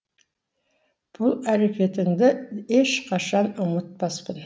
бұл әрекетіңді еш қашан ұмытпаспын